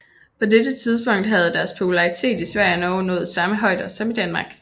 På dette tidspunkt havde deres popularitet i Sverige og Norge nået samme højder som i Danmark